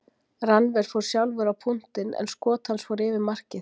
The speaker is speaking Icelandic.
Rannver fór sjálfur á punktinn en skot hans fór yfir markið.